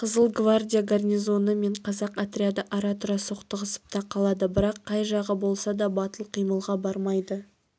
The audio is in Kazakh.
қызыл гвардия гарнизоны мен қазақ отряды ара-тұра соқтығысып та қалады бірақ қай жағы болса да батыл қимылға бармайды